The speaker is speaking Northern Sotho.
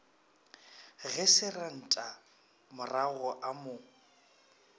ge seresanta maroga a mo